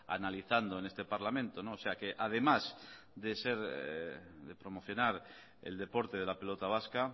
analizando en este parlamento o sea que además de ser de promocionar el deporte de la pelota vasca